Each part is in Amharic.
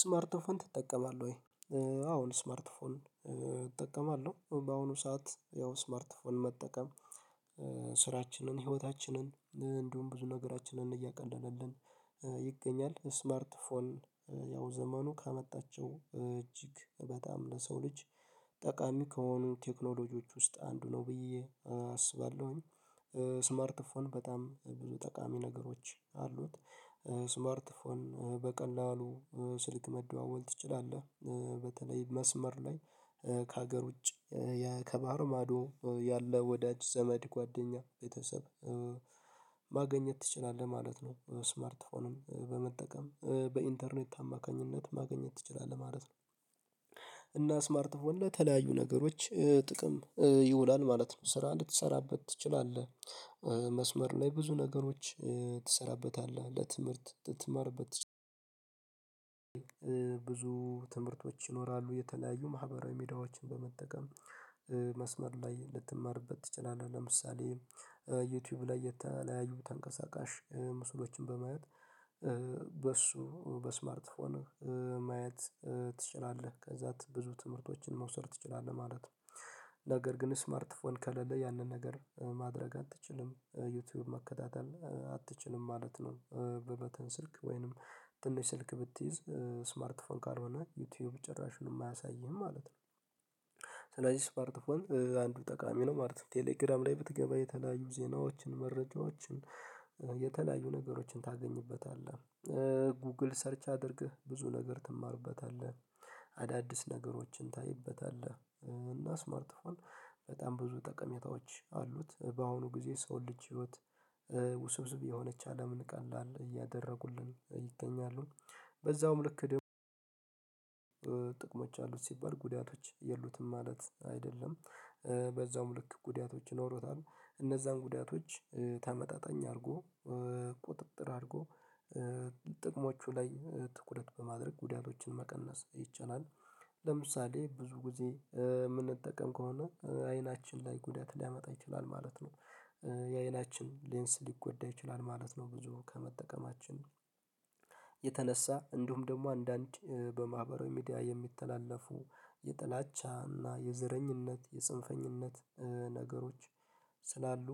ስማርት ፎን ትጠቀማለህ ወይ? አዎን ስማርት ፎን እጠቀማለሁ በአሁኑ ሰዓት ያው ስማርት ፎን መጠቀም ስራችንን ህይወታችንን እንዲሁም ብዙ ነገራችንን እያቀለለልን ይገኛል ስማርት ፎን ያው ዘመኑ ካመጣቸው እጅግ በጣም ለሰው ልጅ ጠቃሚ ከሆኑ ቴክኖሎጂዎች ውስጥ አንዱ ነው ብዬ አስባለሁኝ። ስማርትፎን በጣም ብዙ ጠቃሚ ነገሮች አሉት። ስማርት ፎን በቀላሉ ስልክ መደዋወል ትችላለህ በተለይ መስመር ላይ ከሀገር ውጭ ከባህር ማዶ ያለ ወዳጅ ዘመድ ጓደኛ ቤተሰብ ማግኘት ትችላለህ ማለት ነው። ስማርት ፎንን በመጠቀም በኢንተርኔት አማካኝነት ማግኘት ትችላለህ ማለት ነው። እና ስማርት ፎን ለተለያዩ ነገሮች ጥቅም ይውላል ማለት ነው ስራ እንድትሰራበት ትችላለህ። መስመር ላይ ብዙ ነገሮች ትሰራበታለህ ለትምህርት ትማርበት ብዙ ትምህርቶች ይኖራሉ የተለያዩ ማህበራዊ ሜዳዎችን በመጠቀም መስመር ላይ ልትማርበት ትችላለህ ለምሳሌ ዩቲዩብ ላይ የተለያዩ ተንቀሳቃሽ ምስሎችን በማየት በሱ በስማርት ፎን ማየት ትችላለህ ከዛ ብዙ ትምህርቶችን መውሰድ ትችላለህ ማለት ነው። ነገር ግን ስማርት ፎን ከለለ ያንን ነገር ማድረግ አትችልም ዩቲዩብ መከታተል አትችልም ማለት ነው። በበተን ስልክ ወይንም ትንሽ ስልክ ብትይዝ ስማርት ፎን ካልሆነ ዩቲዩብ ጭራሹንም አያሳይህም ማለት ነው። ስለዚህ ስማርት ፎን አንዱ ጠቃሚ ነው ማለት ነው። ቴሌግራም ላይ ብትገባ የተለያዩ ዜናዎችን መረጃዎችን የተለያዩ ነገሮችን ታገኝበታለህ ጉግል ሰርች አድርግህ ብዙ ነገር ትማርበታለህ አዳዲስ ነገሮችን ታይበታለህ እና ስማርት ፎን በጣም ብዙ ጠቀሜታዎች አሉት። በአሁኑ ጊዜ ሰው ልጅ ህይወት ውስብስብ የሆነች አለምን ቀላል እያደረጉልን ይገኛሉ በዛውም ልክ ደግሞ ጥቅሞች አሉት ሲባል ጉዳቶች የሉትም ማለት አይደለም። በዛውም ልክ ጉዳቶች ይኖሩታል እነዛን ጉዳቶች ተመጣጣኝ አድርጎ ቁጥጥር አድርጎ ጥቅሞቹ ላይ ትኩረት በማድረግ ጉዳቶችን መቀነስ ይቻላል። ለምሳሌ ብዙ ጊዜ የምንጠቀም ከሆነ አይናችን ላይ ጉዳት ሊያመጣ ይችላል ማለት ነው። ሌንስ ሊጎዳ ይችላል ማለት ነው። ብዙ ከመጠቀማችን የተነሳ እንደውም ደግሞ አንዳንድ በማህበራዊ ሚዲያ የሚተላለፉ የጥላቻ እና የዘረኝነት ነገሮች ስላሉ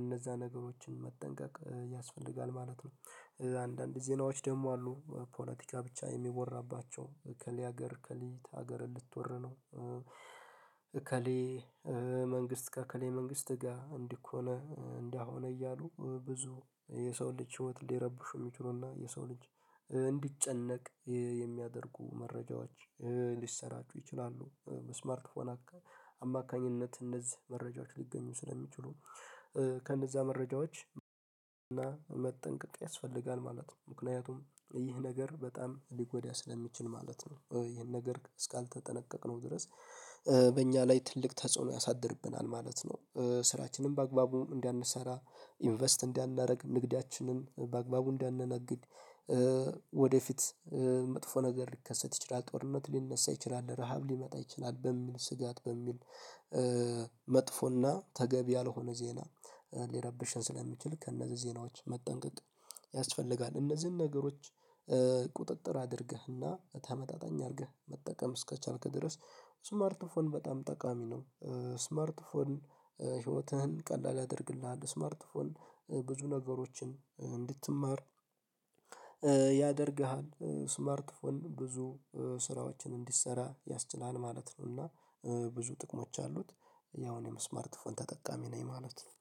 እነዛ ነገሮችን መጠንቀቅ ያስፈልጋል ማለት ነው። አንዳንድ ዜናዎች ደግሞ አሉ ፖለቲካ ብቻ የሚወራባቸው ከሊ ሀገር ከሊይት ሀገር ልትወር ነው እከሌ መንግስት ጋር ከሌ መንግስት ጋር እንዲህ እኮ ነው እንደሆነ እያሉ ብዙ የሰው ልጅ ህይወት ሊረብሹ የሚችሉና የሰው ልጅ እንዲጨነቅ የሚያደርጉ መረጃዎች ሊሰራጩ ይችላሉ። በስማርት ፎን አማካኝነት እነዚህ መረጃዎች ሊገኙ ስለሚችሉ ከእነዛ መረጃዎች እና መጠንቀቅ ያስፈልጋል ማለት ነው። ምክንያቱም ይህ ነገር በጣም ሊጎዳ ስለሚችል ማለት ነው። ይሄን ነገር እስካልተጠነቀቅነው ድረስ በእኛ ላይ ትልቅ ተጽዕኖ ያሳድርብናል ማለት ነው። ስራችንም በአግባቡም እንዳንሰራ ኢንቨስት እንዳናደርግ ንግዳችንን በአግባቡ እንዳንነግድ ወደፊት መጥፎ ነገር ሊከሰት ይችላል ጦርነት ሊነሳ ይችላል ረሃብ ሊመጣ ይችላል በሚል ስጋት በሚል መጥፎና ተገቢ ያልሆነ ዜና ሊረብሽን ስለሚችል ከእነዚህ ዜናዎች መጠንቀቅ ያስፈልጋል። እነዚህን ነገሮች ቁጥጥር አድርገህና ተመጣጣኝ አድርገህ መጠቀም እስከቻልክ ድረስ ስማርት ፎን በጣም ጠቃሚ ነው። ስማርት ፎን ህይወትህን ቀላል ያደርግልሃል ስማርት ፎን ብዙ ነገሮችን እንድትማር ያደርግሃል ስማርት ፎን ብዙ ስራዎችን እንድሰራ ያስችላል ማለት ነውና ብዙ ጥቅሞች አሉት። ያው እኔም ስማር ፎን ተጠቃሚ ነኝ ማለት ነው